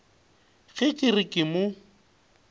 ge ke re ke mo